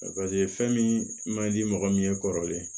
fɛn min man di mɔgɔ min ye kɔrɔlen